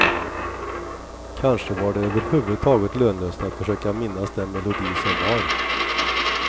Kanske var det överhuvudtaget lönlöst att försöka minnas den melodi som var.